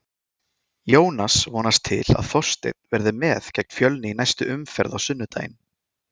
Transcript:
Jónas vonast til að Þorsteinn verði með gegn Fjölni í næstu umferð á sunnudaginn.